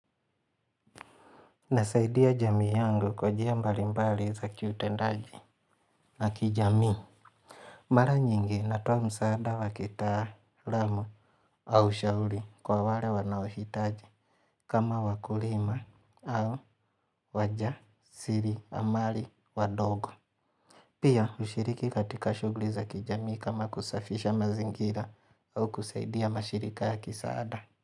Nasaidia jamii yangu kwa njia mbalimbali za kiutendaji na kijamii. Mara nyingi natoa msaada wa kitaalamu au ushauri kwa wale wanaohitaji kama wakulima au wajasiriamali wadogo. Pia hushiriki katika shughuli za kijamii kama kusafisha mazingira au kusaidia mashirika ya kisaada.